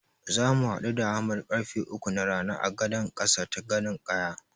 Zamu haɗu da Ahmad karfe uku na rana a gadan ƙasa ta Gadon ƙaya.